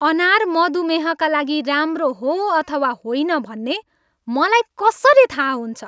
अनार मधुमेहका लागि राम्रो हो अथवा होइन भन्ने मलाई कसरी थाहा हुन्छ?